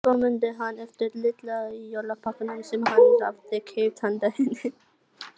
Svo mundi hann eftir litla jólapakkanum sem hann hafði keypt handa henni.